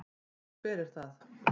Nú, hver er það?